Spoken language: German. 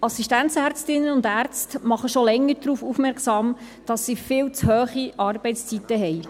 Assistenzärztinnen und -ärzte machen schon länger darauf aufmerksam, dass sie viel zu hohe Arbeitszeiten haben.